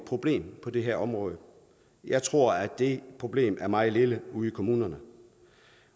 problem på det her område jeg tror at det problem er meget lille ude i kommunerne